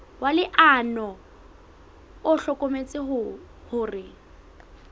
wa leano o hlokometse hore